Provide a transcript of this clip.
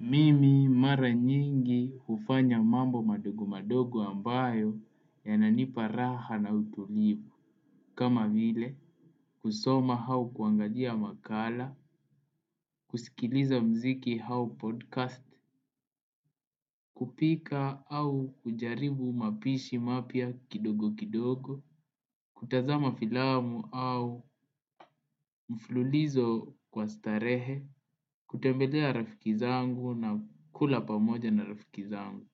Mimi mara nyingi hufanya mambo madogo madogo ambayo yananipa raha na utulivu. Kama vile kusoma hau kuangalia makala, kusikiliza muziki hau podcast, kupika au kujaribu mapishi mapya kidogo kidogo, kutazama filamu au mfululizo kwa starehe, kutembelea rafiki zangu na kula pamoja na rafiki zangu.